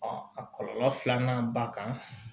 a kɔlɔlɔ filanan ba kan